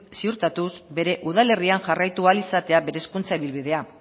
ziurtatuz bere udalerrian jarraitu ahal izatea bere hezkuntza ibilbidea